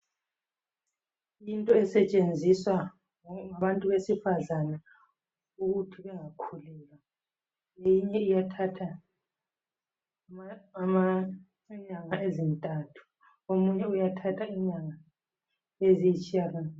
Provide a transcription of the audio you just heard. kusetshenziswa ebantwini besifazana ukuthi bengakhulelwa lokhu kuyathatha inyanga ezintathu okunye kuyathath inyanga ezilitshiyagalo bili